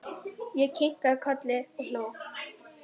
Ég kinkaði kolli og hló.